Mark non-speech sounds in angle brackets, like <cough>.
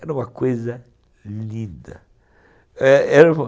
Era uma coisa linda. Era era <unintelligible>